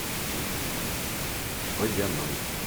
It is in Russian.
водяной